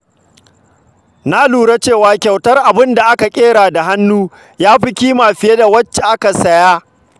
Na lura cewa kyautar abin da aka ƙera da hannu tafi ƙima fiye da wacce aka saya.